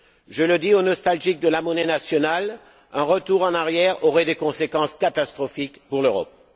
Je le dis aux nostalgiques de la monnaie nationale, un retour en arrière aurait des conséquences catastrophiques pour l'Europe.